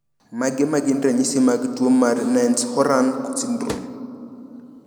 Mage magin ranyisi mag tuo mar Nance Horan syndrome?